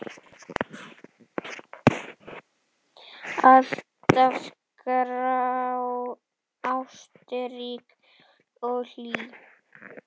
Alltaf ástrík og hlý.